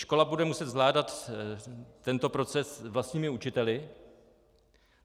Škola bude muset zvládat tento proces vlastními učiteli.